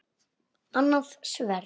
Annað sverð.